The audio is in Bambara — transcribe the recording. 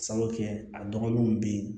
Sabu kɛ a dɔgɔninw bɛ ye